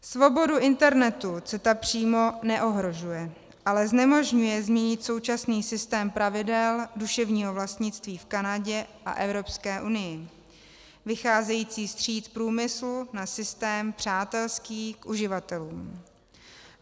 Svobodu internetu CETA přímo neohrožuje, ale znemožňuje změnit současný systém pravidel duševního vlastnictví v Kanadě a Evropské unii vycházející vstříc průmyslu na systém přátelský k uživatelům.